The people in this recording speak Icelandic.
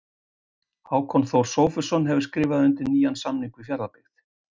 Hákon Þór Sófusson hefur skrifað undir nýjan samning við Fjarðabyggð.